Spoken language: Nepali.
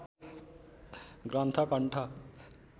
ग्रन्थ कण्ठ